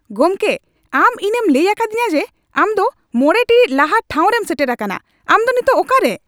ᱜᱚᱢᱠᱮ, ᱟᱢ ᱤᱧᱮᱢ ᱞᱟᱹᱭ ᱟᱠᱟᱫᱤᱧᱟ ᱡᱮ ᱟᱢ ᱫᱚ ᱕ ᱴᱤᱲᱤᱡ ᱞᱟᱦᱟ ᱴᱷᱟᱸᱣᱨᱮᱢ ᱥᱮᱴᱮᱨ ᱟᱠᱟᱱᱟ ᱾ ᱟᱢ ᱫᱚ ᱱᱤᱛᱚᱜ ᱚᱠᱟᱨᱮ ?